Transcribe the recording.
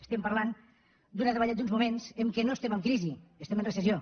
estem parlant d’uns moments en què no estem en crisi estem en recessió